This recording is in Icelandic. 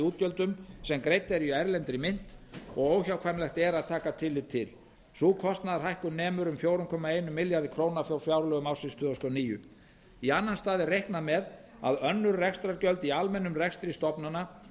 útgjöldum sem greidd eru í erlendri mynt og óhjákvæmilegt er að taka tillit til sú kostnaðarhækkun nemur um fjóra komma einum milljarði króna frá fjárlögum ársins tvö þúsund og níu í annan stað er reiknað með að önnur rekstrargjöld í almennum rekstri stofnana